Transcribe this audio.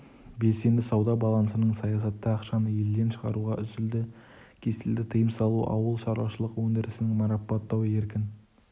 белсенді сауда балансының саясаты ақшаны елден шығаруға үзілді кесілді тыйым салу ауыл шаруашылық өндірісін марапаттау еркін